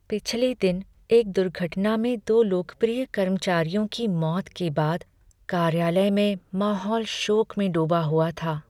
पिछले दिन एक दुर्घटना में दो लोकप्रिय कर्मचारियों की मौत के बाद कार्यालय में माहौल शोक में डूबा हुआ था।